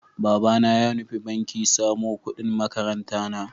Babana ya nufi banki samo ƙudin makarantana.